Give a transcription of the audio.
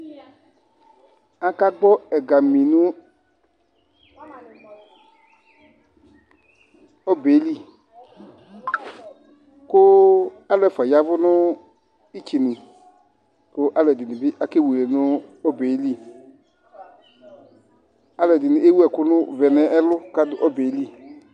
Akagbɔ ɛgamɩ nɔbelɩ Kʊ alʊ ɛfua yavʊ nɩtsenʊ, kalʊɛdɩnɩ akewele nʊ ɔbelɩ Alʊɛdinɩ ewʊ ɛkʊvɛ nɛlʊ kadu ɔbelɩ